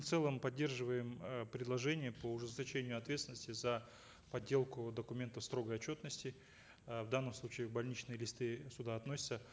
в целом поддерживаем э предложение по ужесточению ответственности за подделку документов строгой отчетности э в данном случае больничные листы сюда относятся